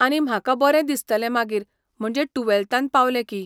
आनी म्हाका बरें दिसतालें मागीर म्हणजे टुवॅल्तान पावलें की.